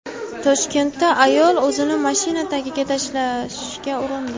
Toshkentda ayol o‘zini mashina tagiga tashlashga urindi .